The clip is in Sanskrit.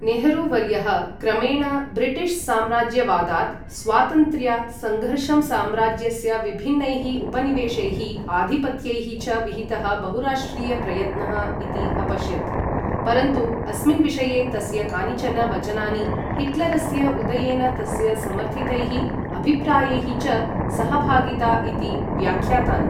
नेहरू वर्यः क्रमेण ब्रिटिश् साम्राज्यवादात् स्वातन्त्र्या सङ्घर्षं साम्राज्यस्य विभिन्नैः उपनिवेशैः, आधिपत्यैः च विहितः बहुराष्ट्रिय प्रयत्नः इति अपश्यत्, परन्तु अस्मिन् विषये तस्य कानिचन वचनानि हिट्लरस्य उदयेन तस्य समर्थितैः अभिप्रायैः च सहभागिता इति व्याख्यातानि।